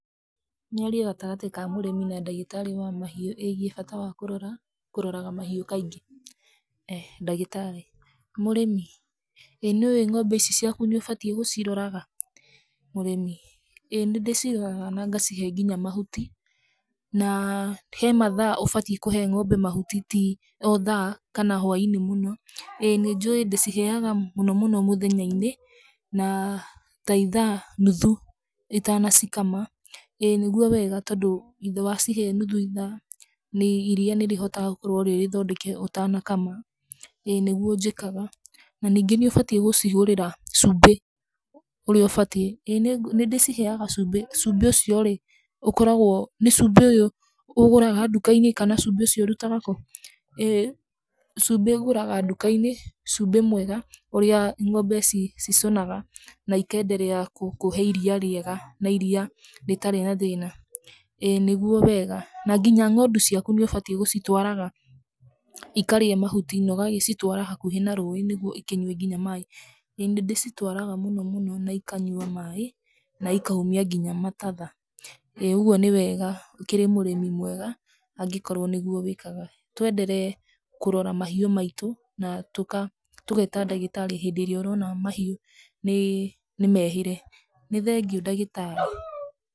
Mĩario gatagatĩ ka mũrĩmi na ndagĩtarĩ wa mahiũ ĩgiĩ bata wa kũrora, kũroraga ga mahiũ kaingĩ. Ndagĩtarĩ : Mũrĩmi ĩĩ nĩ ũĩ ng'ombe ici ciaku nĩ wagĩrĩire gũciroraga? Mũrĩmi : ĩ ĩ nĩ ndĩciroraga na ngacihe nginya mahuti, na he mathaa ũbatie kũhe ngombe mahuti ti o thaa kana hwainĩ mũno. Ĩĩ nĩ njũi ndĩciheaga mũno mũno mũthenyainĩ na ta itha nuthu itanacikama. Ĩĩ nĩguo wega tondũ wacihe nuthu ithaa iria nĩ rĩhotaga gũkorwo rĩ rĩthondeke ũtanakama. ĩĩ nĩguo njĩkaga na nyingĩ nĩ ũbatie gũcigũrĩra cumbĩ ũrĩa ũbatie. Ĩĩ nĩ ndĩciheaga cumbĩ. cumbĩ ũcio rĩ, ũkoragwo, nĩ cumbĩ ũyũ ũgũraga ndukainĩ kana cumbĩ ũcio ũrutaga kũ? Ĩĩ cumbĩ ngũraga ndukainĩ, cumbĩ mwega ũrĩa ng'ombe cicũnaga na ikenderea kũhe iria rĩega na iria rĩtarĩ na thĩna. ĩĩ nĩguo wega na nginya ng'ondu ciaku nĩ ũbatie gũcitwaraga ikarĩe mahuti na ũgacitwara hakuhĩ na rũĩ nĩguo ikĩnyue nginya maaĩ. Ĩĩ nĩ ndĩcitwaraga mũno mũno na ikanyua maaĩ na ikaumia nginya matatha. Ĩĩ ũguo nĩ wega ũkĩrĩ mũrĩmi mwega angĩkorwo nĩguo wĩkaga. Twenderee kũrora mahiũ maitũ na tũgeta ndagĩtarĩ hĩndĩ ĩrĩa ũrona mahiũ nĩ mehĩre. Nĩ thengiũ ndagĩtarĩ.